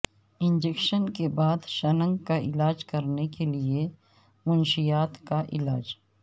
injection کے بعد شنک کا علاج کرنے کے لئے منشیات کا علاج